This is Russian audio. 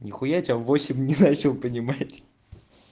нихуя тебя в восемь не начал понимать